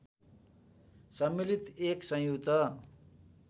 सम्मिलित एक संयुक्त